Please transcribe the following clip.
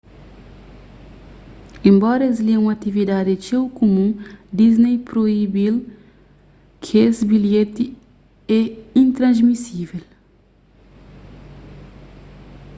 enbora es li é un atividadi txeu kumun disney proibi-l kes bilheti é intransmisível